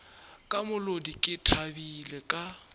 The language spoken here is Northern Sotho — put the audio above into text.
ka molodi ke thabile ka